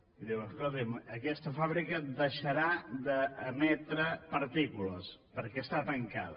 i diuen escolti’m aquesta fàbrica deixarà d’emetre partícules perquè està tancada